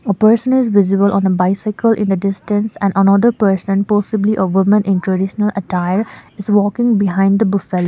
a person is visible on a bicycle in a distance and another person possibly a woman in traditional attire is walking behind the buffal --